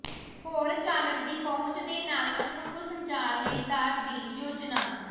ਹੋਰ ਚਾਲਕ ਦੀ ਪਹੁੰਚ ਦੇ ਨਾਲ ਅਨੁਕੂਲ ਸੰਚਾਰ ਲਈ ਦਰ ਦੀ ਯੋਜਨਾ